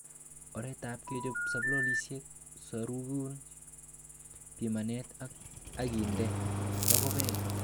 Oretab kechop sampolisiek, sorokun, piman ak inde mokubet.